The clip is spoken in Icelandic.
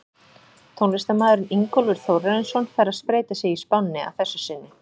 Tónlistarmaðurinn Ingólfur Þórarinsson fær að spreyta sig í spánni að þessu sinni.